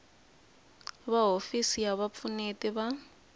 va hofisi ya vupfuneti va